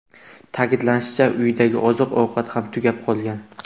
Ta’kidlanishicha, uydagi oziq-ovqat ham tugab qolgan.